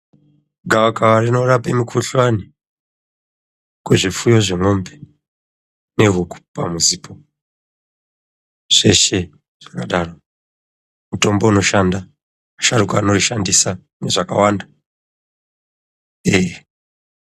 Gavakava rinorape mikuhlani kuzvipfuyo zvemwombe nehuku pamuzipo, zveshe zvakadaro. Mutombo unoshanda, vasharuka vanorishandisa zvakawanda, eya.